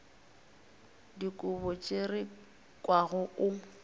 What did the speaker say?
dikobo tše re kwago o